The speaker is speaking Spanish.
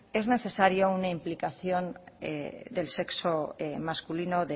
es necesaria una implicación del sexo masculino